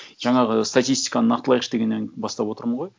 жаңағы статистиканы нақтылайықшы дегеннен бастап отырмын ғой